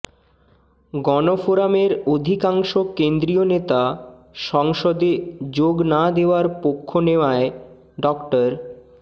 গণফোরামের অধিকাংশ কেন্দ্রীয় নেতা সংসদে যোগ না দেওয়ার পক্ষ নেওয়ায় ড